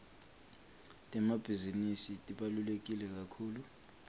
temabhizinisi tibaluleke kakhulu